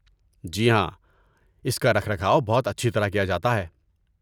جی ہاں، اس کا رکھ رکھاو بہت اچھی طرح کیا جاتا ہے۔